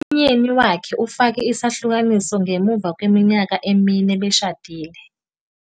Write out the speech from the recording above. Umyeni wakhe ufake isahlukaniso ngemuva kweminyaka emine beshadile.